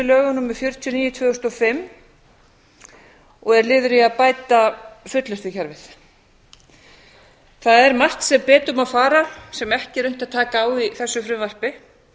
fullnustulögum númer fjörutíu og níu tvö þúsund og fimm og er liður í að bæta fullnustukerfið það er margt sem betur má fara sem ekki er unnt að taka á í þessu frumvarpi